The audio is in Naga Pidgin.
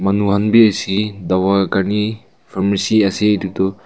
manu han bi ase dawai kar ni pharmacy ase edu toh.